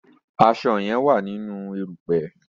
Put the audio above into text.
aṣọ yen wá nínú erùpẹ̀.